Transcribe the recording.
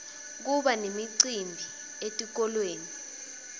kuba nemicimbi etikolweni